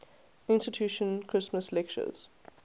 institution christmas lectures